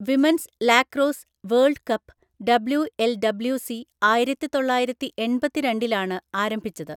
Women's lacrosse world cup (WLWC) ആയിരത്തിതൊള്ളായിരത്തിഎണ്‍പത്തിരണ്ടിലാണ് ആരംഭിച്ചത്.